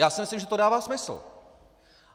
Já si myslím, že to dává smysl.